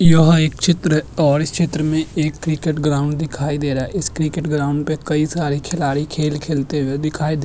यह एक चित्र और इस चित्र में एक क्रिकेट ग्राउंड दिखाई दे रहा है इस क्रिकेट ग्राउंड पे कई सारे खिलाडी खेल खेलते हुए दिखाई दे --